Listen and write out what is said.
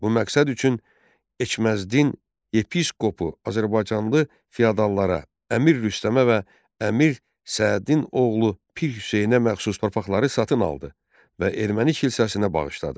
Bu məqsəd üçün Eçməzdin yepiskopu azərbaycanlı fiodallara, Əmir Rüstəmə və Əmir Sədin oğlu Pir Hüseynə məxsus torpaqları satın aldı və erməni kilsəsinə bağışladı.